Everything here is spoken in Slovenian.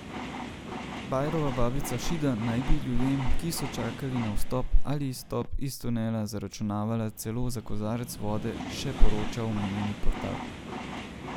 Bajrova babica Šida naj bi ljudem, ki so čakali na vstop ali izstop iz tunela, zaračunavala celo za kozarec vode, še poroča omenjeni portal.